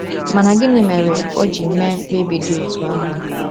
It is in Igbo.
Mana gịnị mere o ji mee mkpebi dị otú ahụ?